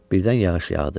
Birdən yağış yağdı.